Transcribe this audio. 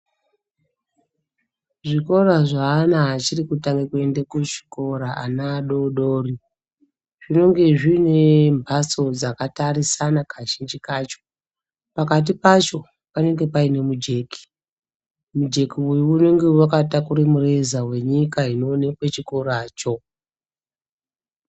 Zvikora zveana achiri kutange kuenda kuchikoro, ana adoodori, zvinenge zvine mbatso dzakatarisana kazhinji kacho. Pakati pacho panenge paine mujeki, mujeki uyu unenge wakatakure mureza wenyika inoonekwe chikoracho.